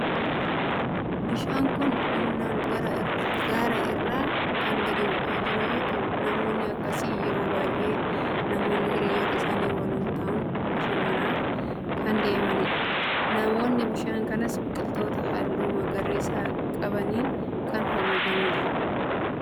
Bishaan kun humnaan gaara irraa kan gadi bu'aa jiru yeroo ta'u naannoo akkasii yeroo baay'ee namoonni hiriyoota isaanii waliin ta'uun bashannanaaf kan deemanidha. Naannoon bishaan kanaas biqiloota halluu magariisa qabaniin kan haguugamee jirudha.